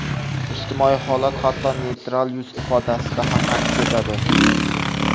Ijtimoiy holat hatto neytral yuz ifodasida ham aks etadi.